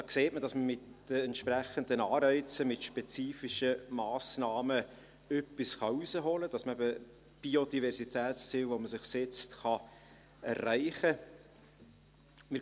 Da sieht man, dass man mit den entsprechenden Anreizen, mit spezifischen Massnahmen etwas herausholen kann, und dass man eben Biodiversitätsziele, die man sich setzt, erreichen kann.